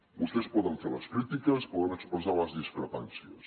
vostès poden fer les crítiques poden expressar les discrepàncies